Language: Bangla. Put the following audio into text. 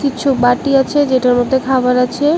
কিছু বাটি আছে যেটার মধ্যে খাবার আছে।